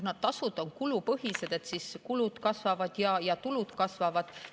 Kuna tasud on kulupõhised, siis kulud kasvavad ja tulud kasvavad.